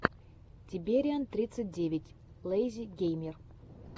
тибериан тридцать девять лэйзи геймер